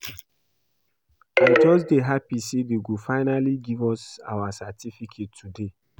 I just dey happy say dey go finally give us our certificate today